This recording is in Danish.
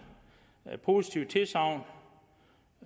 har givet et positivt tilsagn